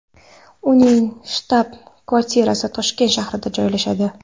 Uning shtab-kvartirasi Toshkent shahrida joylashadi.